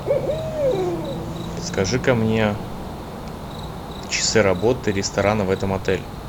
подскажи ка мне часы работы ресторана в этом отеле